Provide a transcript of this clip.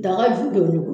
Daga ju don